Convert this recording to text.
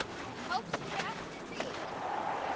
Tókstu eftir því?